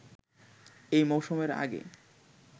এই মৌসুমের আগে